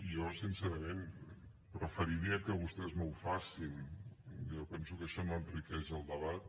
jo sincerament preferiria que vostès no ho fessin jo penso que això no enriqueix el debat